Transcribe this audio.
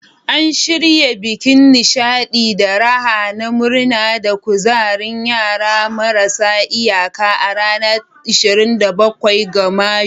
An shirya bikin nishadi da raha na murna da kuzarin yara marasa iyaka a ranar 27 ga Mayu.